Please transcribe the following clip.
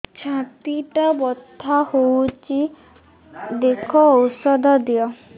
ଛାତି ଟା ବଥା ହଉଚି ଦେଖ ଔଷଧ ଦିଅ